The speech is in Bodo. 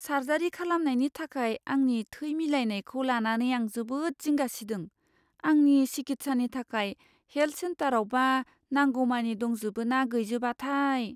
सार्जारि खालामनायनि थाखाय आंनि थै मिलायनायखौ लानानै आं जोबोद जिंगा सिदों। आंनि सिखित्सानि थाखाय हेल्थ सेन्टारावबा नांगौमानि दंजोबो ना गैजोबाथाय?